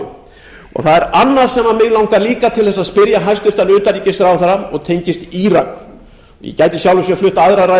það er annað sem mig langar líka til að spyrja hæstvirtan utanríkisráðherra og tengist írak ég gæti í sjálfu sér flutt aðra ræðu